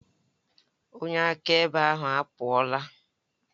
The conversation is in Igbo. Onye akaebe ahụ apụọla.